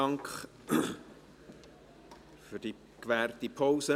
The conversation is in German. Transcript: Dank für die gewährte Pause.